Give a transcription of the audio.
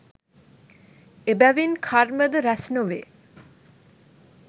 එබැවින් කර්මද රැස් නොවේ